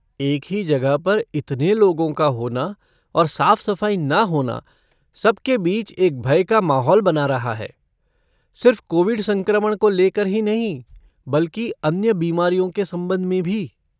एक ही जगह पर इतने लोगों का होना और साफ़ सफ़ाई ना होना सब के बीच एक भय का माहौल बना रहा है, सिर्फ़ कोविड संक्रमण को लेकर ही नहीं बल्कि अन्य बीमारियों के संबंध में भी।